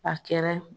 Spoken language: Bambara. A kɛra